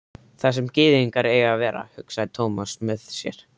Þar sem gyðingar eiga að vera, hugsaði Thomas með sér.